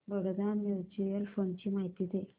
Baroda mutual fund ची माहिती दे